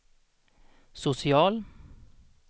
social